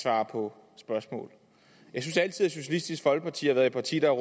svare på spørgsmål jeg synes altid at socialistisk folkeparti har været et parti der